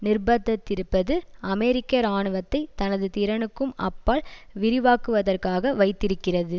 நிர்ப்பந்தித்திருப்பது அமெரிக்க இராணுவத்தை தனது திறனுக்கும் அப்பால் விரிவாக்குவதற்கு வைத்திருக்கிறது